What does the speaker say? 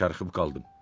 Kərkıb qaldım.